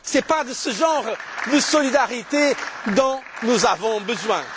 Ce n'est pas de ce genre de solidarité dont nous avons besoin.